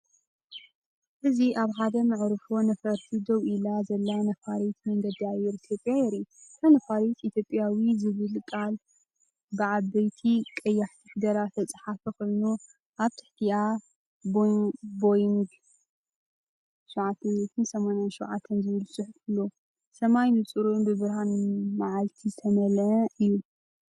እዚ ኣብ ሓደ መዕርፎ ነፈርቲ ደው ኢላ ዘላ ነፋሪት መንገዲ ኣየር ኢትዮጵያ የርኢ። እታ ነፋሪት “ኢትዮጵያዊ” ዝብል ቃል ብዓበይቲ ቀያሕቲ ፊደላት ዝተጻሕፈ ኮይኑ፡ኣብ ትሕቲኣ “ቦይንግ 787” ዝብል ጽሑፍ ኣሎ። ሰማይ ንጹርን ብብርሃን መዓልቲ ዝተመልአን እዩ።